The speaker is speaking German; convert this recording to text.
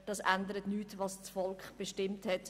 Daran ändert nichts, was das Volk bestimmt hat.